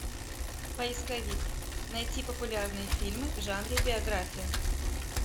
поисковик найти популярные фильмы в жанре биография